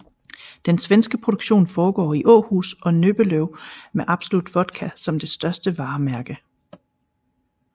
Den svenske produktion foregår i Åhus og Nöbbelöv med Absolut Vodka som det største varemærke